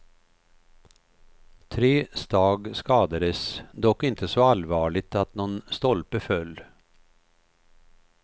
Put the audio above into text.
Tre stag skadades, dock inte så allvarligt att någon stolpe föll.